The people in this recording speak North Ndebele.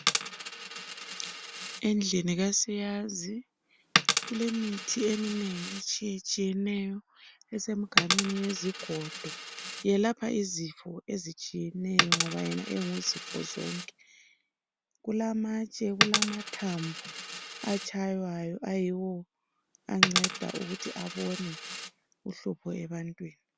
Endlini kasiyazi kulemithi eminengi etshiyetshiyeneyo esemganwini yezigodo yelapha izifo ezitshiyeneyo ngoba yena enguzifozonke. Kulamatshe, kulamathambo atshaywayo ayiwo anceda ukuthi abone uhlupho ebantwini.